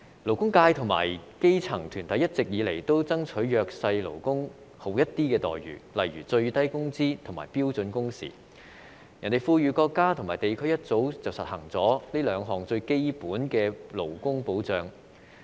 勞工界和基層團體一直以來均爭取對弱勢勞工好一點的待遇，例如最低工資及標準工時，其他富裕國家和地區早已實行這兩項最基本的勞工保障。